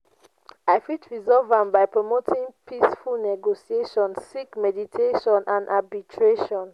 i fit resolve am by promoting peaceful negotiation seek mediation and arbitration.